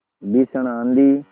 भीषण आँधी